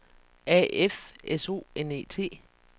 A F S O N E T